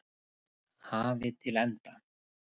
hafi til enda.